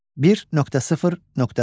1.0.4.